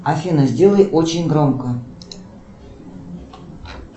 афина сделай очень громко